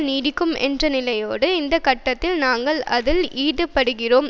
நீடிக்கும் என்ற நிலையோடு இந்த கட்டத்தில் நாங்கள் அதில் ஈடுபடுகிறோம்